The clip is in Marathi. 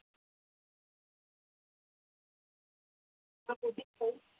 हो.